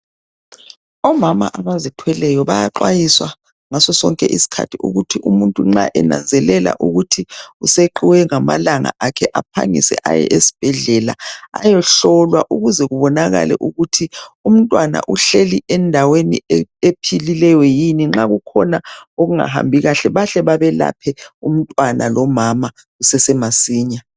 Omama abazithweleyo bayaxwayiswa ngasosonke isikhathi ukuthi umuntu nxa enanzelela ukuthi useqiwe ngamalanga akhe aphangise aye esibhedlela ayehlolwa ukuze kubonakale ukuthi umntwana uhleli endaweni ephilileyo yini nxakukhona okungahambi kahle bahle bemelaphe umntwana lomama kusase masinya.